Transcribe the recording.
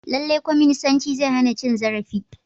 Lallai kwaminisanci zai hana cin zarafi.